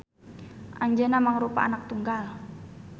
Anjeuna mangrupa anak tunggal